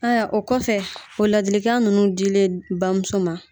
Ayiwa o kɔfɛ o ladilikan ninnu dilen bamuso ma